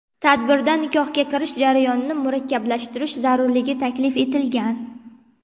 Tadbirda nikohga kirish jarayonini murakkablashtirish zarurligi taklif etilgan.